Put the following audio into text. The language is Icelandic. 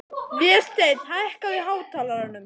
Vésteinn, hækkaðu í hátalaranum.